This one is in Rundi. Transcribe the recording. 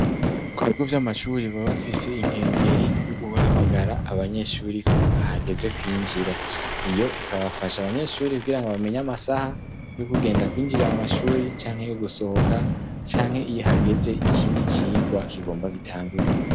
Ku bigo vy'amashuri ba bafise inkengeri yo guhamagara abanyeshuri ko hageze kwinjira, iyo ikabafasha abanyeshuri kugira ngo bamenya amasaha yo kugenda kwinjira mu mashuri ,canke yo gusohoka ,canke iyo hageze ikindi cigwa kigomba gitangure.